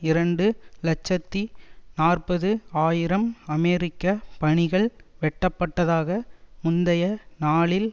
இரண்டு இலட்சத்தி நாற்பது ஆயிரம் அமெரிக்க பணிகள் வெட்டப்பட்டதாக முந்தைய நாளில்